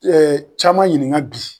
caman ɲininka bi.